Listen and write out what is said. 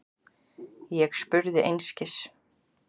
Ég spurði einskis.